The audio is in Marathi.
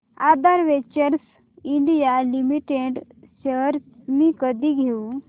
आधार वेंचर्स इंडिया लिमिटेड शेअर्स मी कधी घेऊ